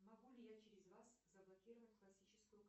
могу ли я через вас заблокировать классическую